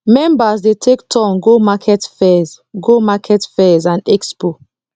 members dey take turn go market fairs go market fairs and expo